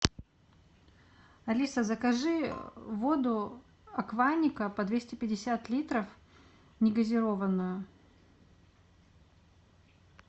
алиса закажи воду акваника по двести пятьдесят литров негазированную